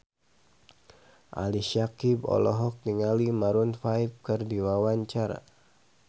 Ali Syakieb olohok ningali Maroon 5 keur diwawancara